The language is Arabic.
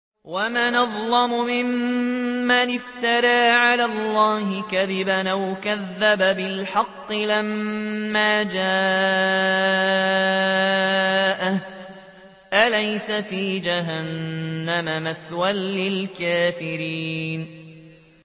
وَمَنْ أَظْلَمُ مِمَّنِ افْتَرَىٰ عَلَى اللَّهِ كَذِبًا أَوْ كَذَّبَ بِالْحَقِّ لَمَّا جَاءَهُ ۚ أَلَيْسَ فِي جَهَنَّمَ مَثْوًى لِّلْكَافِرِينَ